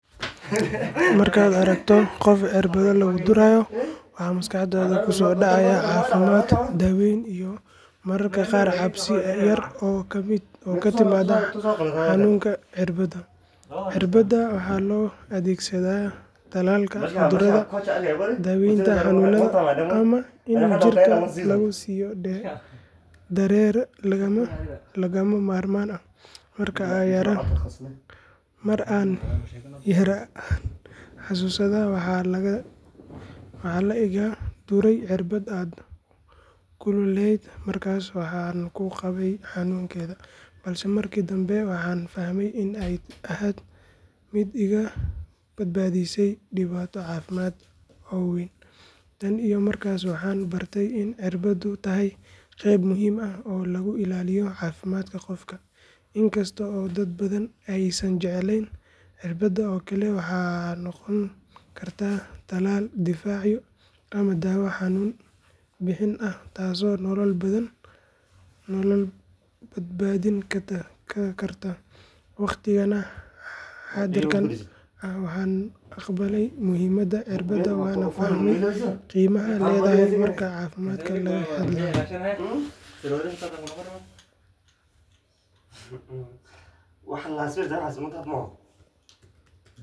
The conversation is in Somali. Markaad aragto qof irbado lagu durayo waxa maskaxdaada ku soo dhacaya caafimaad, daaweyn iyo mararka qaar cabsi yar oo ka timaadda xanuunka irbadda. Irbadaha waxaa loo adeegsadaa tallaalka cudurrada, daaweynta xanuunada ama in jirka lagu siiyo dareere lagama maarmaan ah. Mar aan yaraa ayaan xanuunsaday waxaana la iga duray irbad aad u kululayd markaas waxaan ka baqay xanuunkeeda, balse markii dambe waxaan fahmay in ay ahayd mid iga badbaadisay dhibaato caafimaad oo wayn. Tan iyo markaas waxaan bartay in irbaddu tahay qeyb muhiim ah oo lagu ilaaliyo caafimaadka qofka, in kasta oo dad badan aysan jeclayn. Irbadda oo kale waxay noqon kartaa tallaal difaacaya ama daawo xanuun bi’in ah taasoo nolol badbaadin karta. Waqtigan xaadirka ah waan aqbalay muhiimada irbadda waana fahmay qiimaha ay leedahay marka caafimaad laga hadlayo.